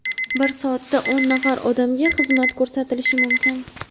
bir soatda o‘n nafar odamga xizmat ko‘rsatilishi mumkin.